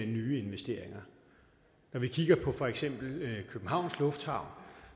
nye investeringer når vi kigger på for eksempel københavns lufthavn